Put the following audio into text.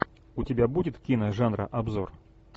у тебя будет кино жанра обзор